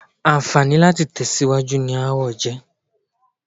Àǹfààní láti tẹ̀síwájú ni aáwọ̀ jẹ́.